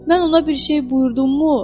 Mən ona bir şey buyurdummu?